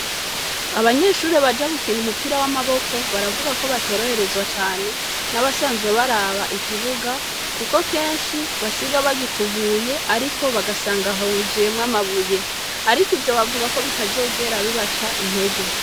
Abanyeshure Baja gukina umupira w'amaboko baravugako bataborohereza cane nabasanzwe baraba ikibuga Kuko kenshi basiga bagikubuye ariko bagasanga huzuyemwo amabuye, Ariko ivyo bavugako bitazokwigera bibaca intege.